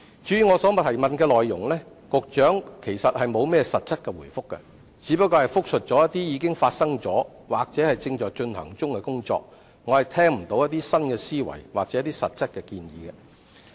至於我所提出的主體質詢，局長其實並沒有實質答覆，只是複述一些已發生或正在進行的工作，我聽不到有新思維或實質建議。